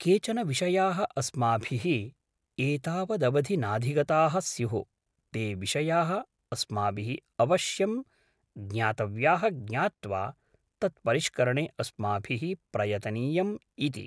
केचन विषयाः अस्माभिः एतावदवधि नाधिगताः स्युः ते विषयाः अस्माभिः अवश्यं ज्ञातव्याः ज्ञात्वा तत्परिष्करणे अस्माभिः प्रवर्तनीयम् इति